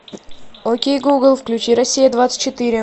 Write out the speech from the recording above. окей гугл включи россия двадцать четыре